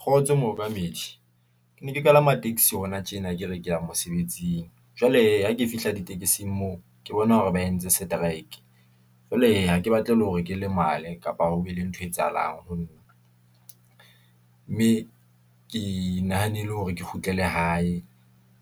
Kgotso mookamedi ke ne ke kalama taxi hona tjena, ke re ke ya mosebetsing, jwale hee, ke fihla ditekesing moo, ke bona hore ba entse strike, jwale hee, hake batle le hore ke lemala, kapa ho be le nthwe etsahalang ho nna . Mme ke nahanile hore ke kgutlele hae,